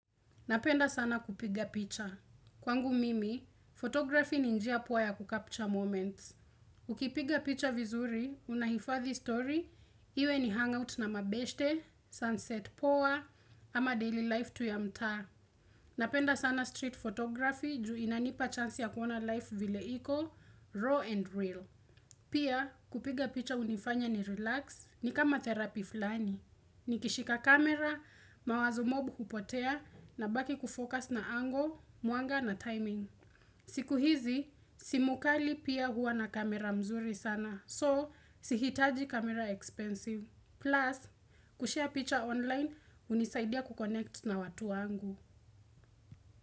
Napenda sana kupiga picha. Kwangu mimi, photography ninjia pua ya kukapcha moments. Ukipiga picha vizuri, unahifathi story, iwe ni hangout na mabeshte, sunset poa, ama daily life tu ya mtaa. Napenda sana street photography, ju inanipa chance ya kuona life vile iko, raw and real. Pia kupiga picha unifanya ni relax ni kama therapy fulani. Nikishika kamera, mawazo mob hupotea na baki kufokas na angle, mwanga na timing. Siku hizi, simu kali pia hua na camera mzuri sana. So, sihitaji camera expensive. Plus, kushare picha online hunisaidia kuconnect na watu wangu.